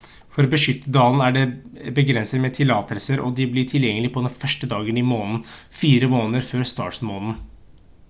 for å beskytte dalen er det begrenset med tillatelser og de blir tilgjengelig på den 1. dagen i måneden fire måneder før startmåneden